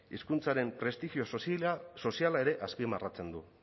hizkuntzaren prestigioso soziala ere azpimarratzen du